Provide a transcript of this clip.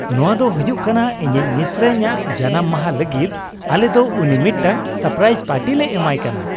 ᱱᱚᱶᱟ ᱫᱚ ᱦᱩᱭᱩᱜ ᱠᱟᱱᱟ ᱤᱧᱤᱡ ᱢᱤᱥᱨᱟᱧᱼᱟᱜ ᱡᱟᱱᱟᱢ ᱢᱟᱦᱟ ᱞᱟᱹᱜᱤᱫ ᱾ ᱟᱞᱮ ᱫᱚ ᱩᱱᱤ ᱢᱤᱫᱴᱟᱝ ᱥᱟᱨᱯᱨᱟᱭᱤᱡᱽ ᱯᱟᱨᱴᱤ ᱞᱮ ᱮᱢᱟᱭ ᱠᱟᱱᱟ ᱾